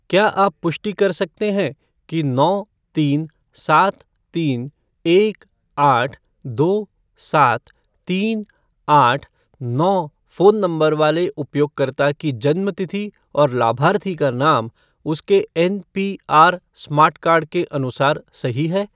क्या आप पुष्टि कर सकते हैं कि नौ तीन सात तीन एक आठ दो सात तीन आठ नौ फ़ोन नंबर वाले उपयोगकर्ता की जन्म तिथि और लाभार्थी का नाम उसके एनपीआर स्मार्ट कार्ड के अनुसार सही है?